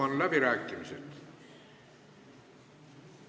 Avan läbirääkimised.